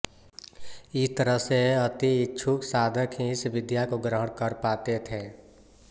इस तरह से अति इच्छुक साधक ही इस विद्या को ग्रहण कर पाते थे